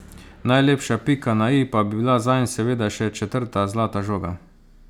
Najlepša pika na i pa bi bila zanj seveda še četrta zlata žoga.